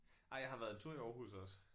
Nej jeg har været en tur i Aarhus også